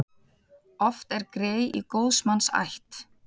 Oft er grey í góðs manns ætt.